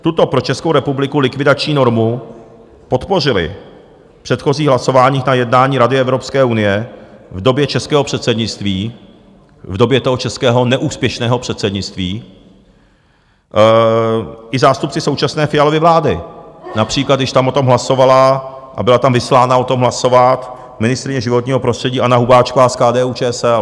Tuto pro Českou republiku likvidační normu podpořili v předchozích hlasováních na jednání Rady Evropské unie v době českého předsednictví, v době toho českého neúspěšného předsednictví, i zástupci současné Fialovy vlády, například když tam o tom hlasovala a byla tam vyslána o tom hlasovat ministryně životního prostředí Anna Hubáčková z KDU-ČSL.